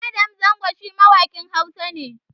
Adam Zango shi mawaƙin Hausa ne